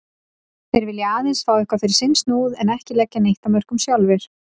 Þeir vilja aðeins fá eitthvað fyrir sinn snúð en ekki leggja neitt af mörkum sjálfir.